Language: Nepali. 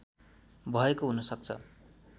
भएको हुनसक्छ